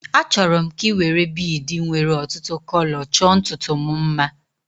Achọrọ m ka ị were biidi nwéré ọtụtụ kọlọ chọọ ntutu m mma